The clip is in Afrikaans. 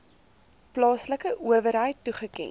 plaaslike owerheid toegeken